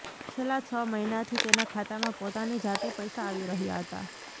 છેલ્લા છ મહિનાથી તેના ખાતામાં પોતાની જાતે પૈસા આવી રહ્યા હતા